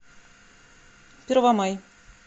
первомай